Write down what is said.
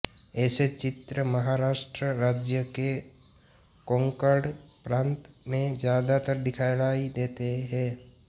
ऐसे चित्र महाराष्ट्र राज्य के कोंकण प्रांत में ज्यादातर दिखाई देते हैं